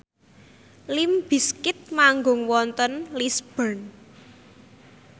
limp bizkit manggung wonten Lisburn